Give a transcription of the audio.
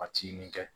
Ka ci nin kɛ